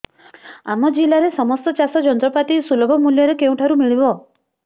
ଆମ ଜିଲ୍ଲାରେ ସମସ୍ତ ଚାଷ ଯନ୍ତ୍ରପାତି ସୁଲଭ ମୁଲ୍ଯରେ କେଉଁଠାରୁ ମିଳିବ